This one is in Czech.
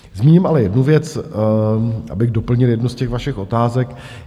Zmíním ale jednu věc, abych doplnil jednu z těch vašich otázek.